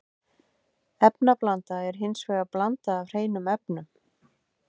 Efnablanda er hins vegar blanda af hreinum efnum.